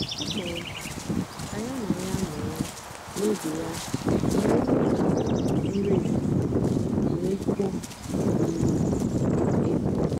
ọ kpọ̀rọ̀ mmadụ́ kà ya na ya nọ̀rọ̀ n’ógè ya nọ̀rọ̀ n’ógè àwa nri èhìhiè na-èkwó um èkwò.